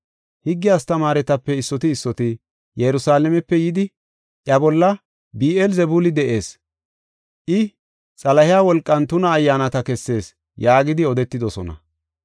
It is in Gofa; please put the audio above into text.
Higge astamaaretape issoti issoti Yerusalaamepe yidi, “Iya bolla Bi7eel-Zebuuli de7ees”, I, “Xalahey wolqan tuna ayyaanata kessees” yaagidi odetidosona.